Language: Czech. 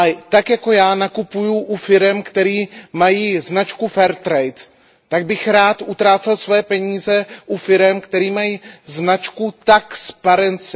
Tak jako já nakupuji u firem, které mají značku Fair trade, tak bych rád utrácel svoje peníze u firem, které mají značku Taxparency.